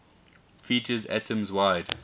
features atoms wide